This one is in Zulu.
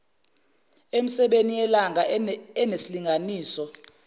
emisebeni yelanga enesilinganiso